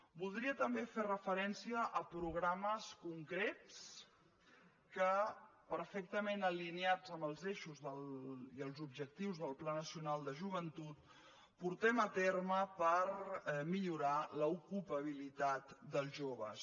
voldria també fer referència a programes concrets que perfectament alineats amb els eixos i i els objectius del pla nacional de joventut portem a terme per millorar l’ocupabilitat dels joves